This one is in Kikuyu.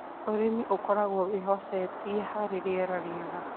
Ũrĩmi ũkoragwo wĩhocetie harĩ rĩera rĩega.